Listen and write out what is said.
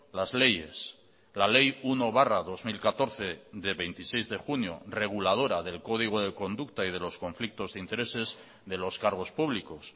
las leyes la ley uno barra dos mil catorce de veintiséis de junio reguladora del código de conducta y de los conflictos de intereses de los cargos públicos